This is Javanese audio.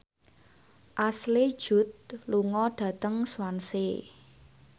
Ashley Judd lunga dhateng Swansea